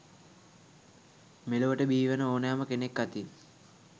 මෙලොවට බිහිවන ඕනෑම කෙනෙක් අතින්